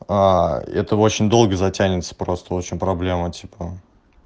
а это очень долго затянется просто очень проблема типа